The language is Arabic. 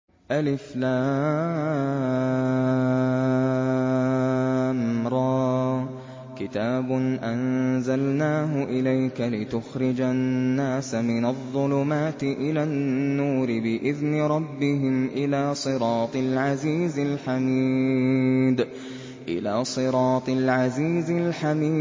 الر ۚ كِتَابٌ أَنزَلْنَاهُ إِلَيْكَ لِتُخْرِجَ النَّاسَ مِنَ الظُّلُمَاتِ إِلَى النُّورِ بِإِذْنِ رَبِّهِمْ إِلَىٰ صِرَاطِ الْعَزِيزِ الْحَمِيدِ